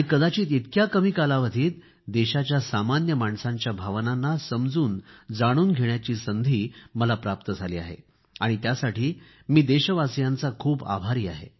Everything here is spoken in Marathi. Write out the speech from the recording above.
कदाचित इतक्या कमी कालावधीत देशाच्या सामान्य माणसांच्या भावनांना समजूनजाणून घेण्याची संधी मला प्राप्त झाली आहे आणि त्यासाठी मी देशवासियांचा खूप आभारी आहे